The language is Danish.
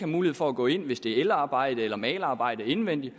mulighed for gå ind hvis det er elarbejde eller malerarbejde indvendigt